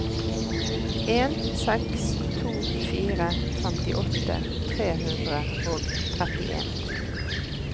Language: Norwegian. en seks to fire femtiåtte tre hundre og trettien